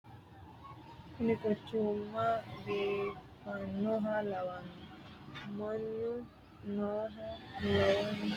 kuni quchuma biifannoha lawanno . mannu noohano lawanno . ikkollan atii ofollinanni barccimma maa labbanno ? wayi kuu'u mayra du'namanni no ?